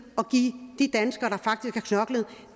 at give de danskere der faktisk har knoklet